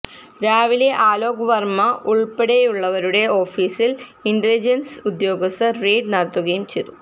രാവിലെ അലോക് വര്മ ഉള്പ്പെടെയുള്ളവരുടെ ഓഫീസില് ഇന്റലിജന്സ് ഉദ്യോഗസ്ഥര് റെയ്ഡു നടത്തുകയും ചെയ്തു